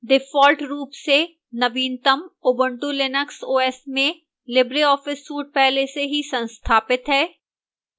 default रूप से नवीनतम ubuntu linux os में libreoffice suite पहले से ही संस्थापित है